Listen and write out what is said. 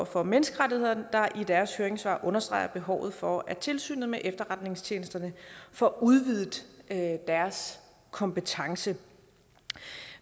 for menneskerettigheder der i deres høringssvar understreger behovet for at tilsynet med efterretningstjenesterne får udvidet deres kompetence